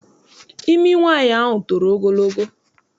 Imi nwaanyị ahụ toro ogologo.